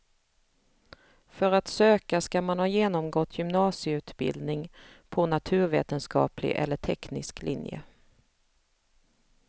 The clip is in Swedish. För att söka ska man ha genomgått gymnasieutbildning på naturvetenskaplig eller teknisk linje.